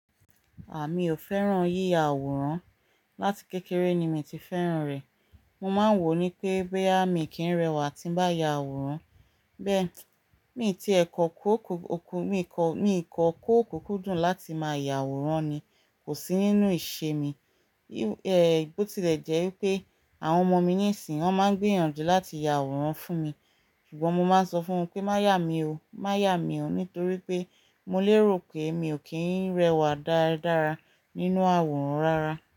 À mi ò fẹ́ràn yíya àwòrán. Láti kékeré ni mi ti fẹ́ràn rẹ̀. Mo máa ń wò ó ní pé, bóyá mi kì í rẹwà tí ń bá ya àwòrán. Bẹ́ẹ̀ mi tí ẹ̀ kọ́ kó òkú, mi kọ́, mi kọ́ kó òkú kúdùn láti máa yá àwòrán ni kò sí nínú ìṣe mi. Bó tilẹ̀ jẹ́ wípé, àwọn ọmọ mi nísìnyí, wọ́n máa ń gbìyànjú láti ya àwòrán fún mi, ṣùgbọ́n mo máa ń sọ fún wọn pé "má ya mi o, má ya mi o" nítorí pé mo lérò pé mi ò kí ń rẹwà dára nínú àwòrán rárá.